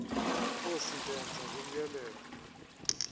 nkosi ndenze ngokomyalelo